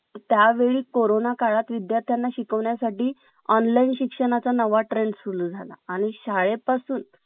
त्यावेळी कोरोना काळात विद्यार्थ्यांना शिकविण्यासाठी online शिक्षणाचा नवा trend सुरू झाला आणि शाळे पासून